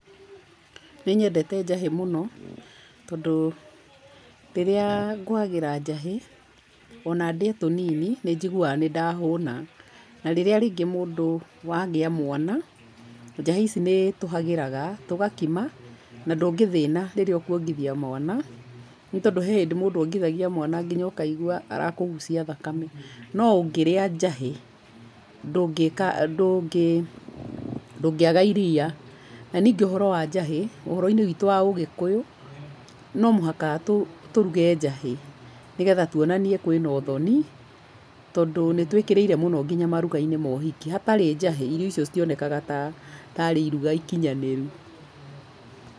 Nĩnyendete njahĩ mũno, tondũ, rĩrĩa, ngĩhagĩra njahĩ, ona ndĩe tũnini, nĩnjiguaga nĩndahũna, na rĩrĩa rĩngĩ mũndũ, wagĩa mwana, njahĩ ici nĩtũhagĩraga, tũgakima, na ndũngĩthĩna rĩrĩa ũkwongithia mwana, nĩtondũ he hĩndĩ mũndũ ongithagia mwana nginya ũkaigua arakũgucia thakame, no ũngĩrĩa njahĩ, ndũngĩka, ndũngĩ, ndũngĩaga iria. Na ningĩ ũhoro wa njagĩ, ũhoro-inĩ witũ wa ugĩkũyu, nomuhaka tũ, tũruge njahĩ, nĩgetha tuonanie kwĩna ũthoni, tondũ nítwĩkĩrĩire mũno nginya moruga-inĩ mohiki, hatarĩ njahĩ, irio icio citionekaga ta, tarĩ iruga ikinyanĩru.